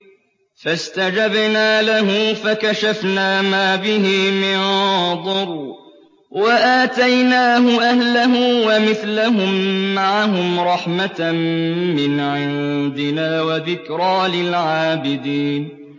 فَاسْتَجَبْنَا لَهُ فَكَشَفْنَا مَا بِهِ مِن ضُرٍّ ۖ وَآتَيْنَاهُ أَهْلَهُ وَمِثْلَهُم مَّعَهُمْ رَحْمَةً مِّنْ عِندِنَا وَذِكْرَىٰ لِلْعَابِدِينَ